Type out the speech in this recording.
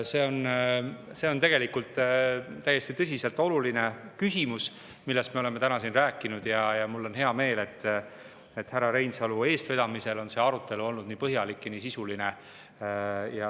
See on tõsiselt oluline küsimus, millest me oleme täna siin rääkinud, ja mul on hea meel, et härra Reinsalu eestvedamisel on see arutelu olnud nii põhjalik ja sisuline.